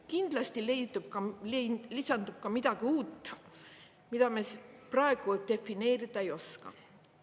Kindlasti lisandub ka midagi uut, mida me praegu defineerida ei oska.